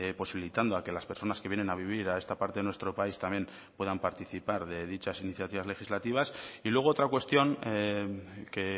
posibilitando a que las personas que vienen a vivir a esta parte de nuestro país también puedan participar de dichas iniciativas legislativas y luego otra cuestión que